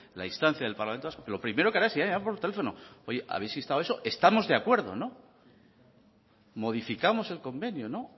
la instancia del parlamento vasco lo primero que hará será hablar por teléfono oye habéis instado eso estamos de acuerdo no modificamos el convenio no